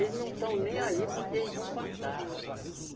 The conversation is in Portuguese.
Eles não estão nem aí porque eles vão passar.